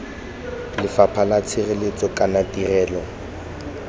lefapha la tshireletso kana tirelo